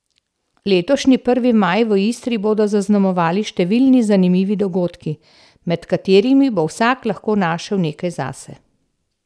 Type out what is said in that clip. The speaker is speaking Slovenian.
Letošnji prvi maj v Istri bodo zaznamovali številni zanimivi dogodki, med katerimi bo vsak lahko našel nekaj zase.